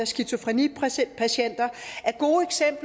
skizofrenipatienter